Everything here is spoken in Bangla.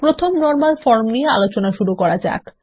প্রথম নরমাল ফর্ম নিয়ে আলোচনা শুরু করা যাক